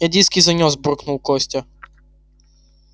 я диски занёс буркнул костя